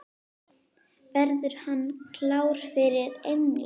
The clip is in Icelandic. Verður hann klár fyrir England?